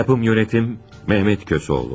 Yapım, idarə: Mehmet Köseoğlu.